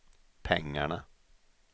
pengarna